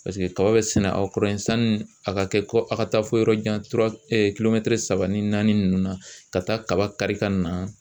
Paseke tɔw bɛ sɛnɛ aw kɔrɔ yen sani a ka kɛ kɔ a ka taa fo yɔrɔ jan saba ni naani nunnu na ka taa kaba kari ka na.